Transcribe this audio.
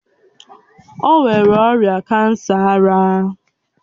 O nwere ọrịa kansa ara